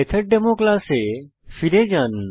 মেথডেমো ক্লাসে ফিরে যান